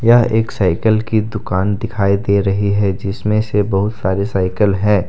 यह एक साइकिल की दुकान दिखाई दे रही है जिसमें से बहुत सारे साइकिल हैं।